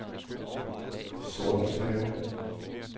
Sortenshave